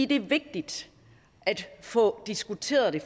det er vigtigt at få diskuteret det